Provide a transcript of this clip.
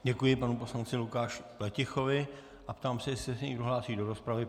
Děkuji panu poslanci Lukáši Pletichovi a ptám se, jestli se někdo hlásí do rozpravy.